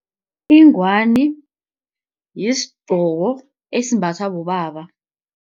Ingwani yisigqoko esimbathwa bobaba.